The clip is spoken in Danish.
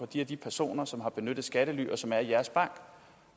de og de personer som har benyttet skattely og som er i jeres bank